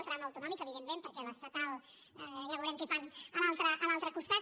el tram autonòmic evidentment perquè amb l’estatal ja veurem què fan a l’altre costat